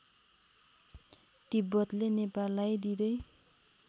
तिब्बतले नेपाललाई दिँदै